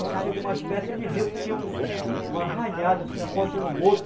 Quando chegou mais perto, ele viu que tinha um um arranhado, assim, nas costas do boto.